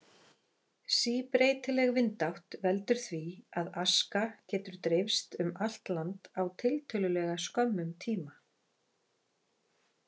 Síbreytileg vindátt veldur því, að aska getur dreifst um allt land á tiltölulega skömmum tíma.